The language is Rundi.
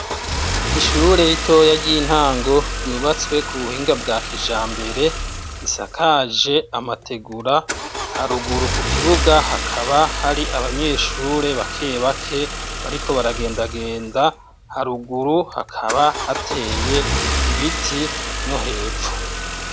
Ishuri ritoya ry'intango ryubatswe kubuhinga bwa kijambere isakaje amategura haruguru kukibuga hakaba hari abanyeshuri bake bake bariko baragenda genda haruguru hakaba hateye ibiti no hepfo.